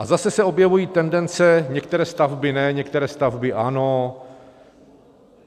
A zase se objevují tendence, některé stavby ne, některé stavby ano.